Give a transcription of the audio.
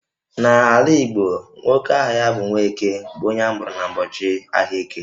N'ala Igbo, nwoke aha ya bụ 'Nwaeke' bụ onye amụrụ n'ụbọchị ahịa Eke